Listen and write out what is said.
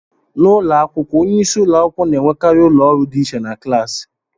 N'ụlọ akwụkwọ, onye isi ụlọ akwụkwọ na-enwekarị ụlọ ọrụ dị iche na klaasị